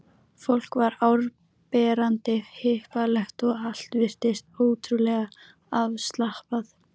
Fólk var áberandi hippalegt og allt virtist ótrúlega afslappað.